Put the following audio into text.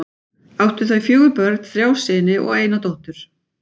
Áttu þau fjögur börn, þrjá syni og eina dóttur.